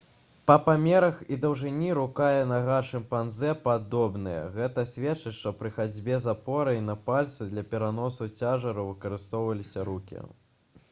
па памерах і даўжыні рука і нага шымпанзэ падобныя гэта сведчыць што пры хадзьбе з апорай на пальцы для пераносу цяжару выкарыстоўваліся рукі